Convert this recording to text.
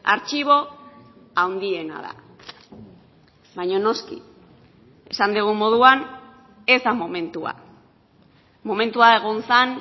artxibo handiena da baina noski esan dugun moduan ez da momentua momentua egon zen